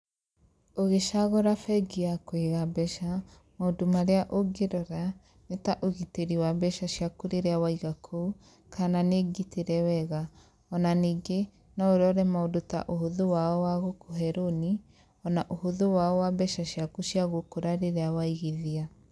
Ũgĩcagũra bengi ya kũiga mbeca, maũndũ marĩa ũngĩrora, nĩ ta ũgitĩri wa mbeca ciaku rĩrĩa waiga kuo kana nĩngitĩre wega, ona ningĩ no ũrore maũndũ ta ũhũthũ wao wa gũkũhe rũni ona ũhũthũ wao wa mbeca ciaku cia gũkũra rĩrĩa waigithia.